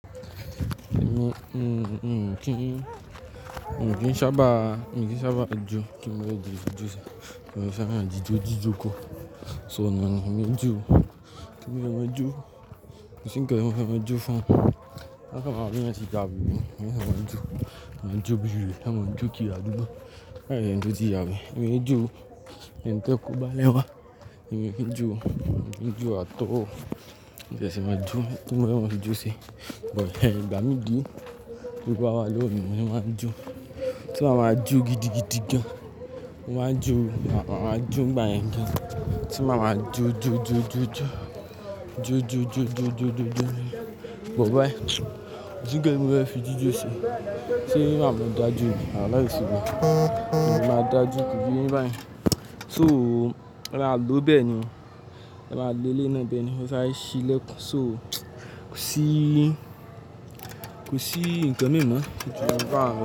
Mi, ǹ kí, mi ò kí ń sábà, mi ò kí ń sábà jó, kí ni mo fẹ́ dì de jósí. Mi ò sábà ń jíjó jíjó kó. So oò mọ̀ ni èmi ò ń jóo, kí ni mo fẹ́ má a jó. Kò sí nǹkan tí mo fẹ́ máa jó fún, wọ́n á kàn máa rò bóyá wọ́n ti dàrù mi. Wọ́n sáà máa ń jó, wọ́n á ma jó bí i wèrè, wọ́n á ma jó kiri adúgbò, láì ṣeni tó ti ya wèrè, mi ò ready o, ẹni tí ẹ̀ẹ́ kóbá lẹ̀ ń wá, èmi ò kí jóo, mi ò kí ń jóo at all. Mo fẹ́ ṣe máa jó, kí ni mo fẹ́ mafi jó ṣe, but ìgbà míì dí t'ówó bá wà lọ́wọ́ mi ni mo ma ń jó. Kó dà màá jó gidigidi gan. Mo máa ń jó o, à màá jó nígbà yẹn gan. Tí màá ma jó jó jó jó jó, jó jó jó jó jó jó jó ni. But báyìí, kò sí nǹkan tí mo fẹ́ fi jíjò ṣe, ṣé màá ma dá jó ni à láì s'oúnjẹ. Mi ò lè máa dá jó kò yé e yín bá yẹn. So, rọra lòó bẹ́ẹ̀ ni. Rọra lo eléyìí náà bẹ́ẹ̀ ni wọ́n sáré ṣí lẹ̀kùn. So, kò sí, kò sí nǹkan míì mọ́ ju báwun lọ.